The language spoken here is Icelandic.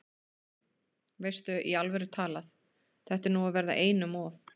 Veistu. í alvöru talað. þetta er nú að verða einum of!